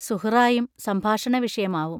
സുഹ്റായും സംഭാഷണവിഷയമാവും.